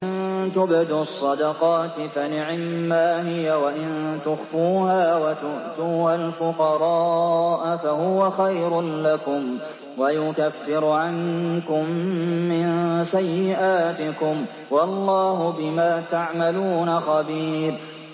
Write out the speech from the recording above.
إِن تُبْدُوا الصَّدَقَاتِ فَنِعِمَّا هِيَ ۖ وَإِن تُخْفُوهَا وَتُؤْتُوهَا الْفُقَرَاءَ فَهُوَ خَيْرٌ لَّكُمْ ۚ وَيُكَفِّرُ عَنكُم مِّن سَيِّئَاتِكُمْ ۗ وَاللَّهُ بِمَا تَعْمَلُونَ خَبِيرٌ